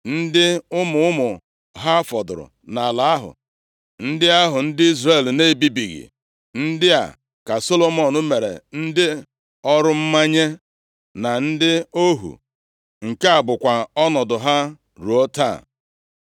ndị ụmụ ụmụ ha fọdụrụ nʼala ahụ, ndị ahụ ndị Izrel na-ebibighị, ndị a ka Solomọn mere ndị ọrụ mmanye na ndị ohu, nke a bụkwa ọnọdụ ha ruo taa.